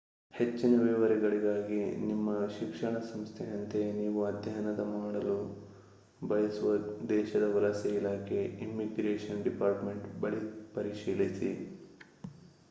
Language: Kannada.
ಹೆಚ್ಚಿನ ವಿವರಗಳಿಗಾಗಿ ನಿಮ್ಮ ಶಿಕ್ಷಣ ಸಂಸ್ಥೆ ಅಂತೆಯೇ ನೀವು ಅಧ್ಯಯನ ಮಾಡಲು ಬಯಸುವ ದೇಶದ ವಲಸೆ ಇಲಾಖೆ ಇಮ್ಮಿಗ್ರೇಶನ್ ಡಿಪಾರ್ಟ್‌ಮೆಂಟ್ ಬಳಿ ಪರಿಶೀಲಿಸಿ